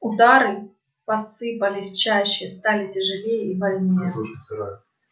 удары посыпались чаще стали тяжелее и больнее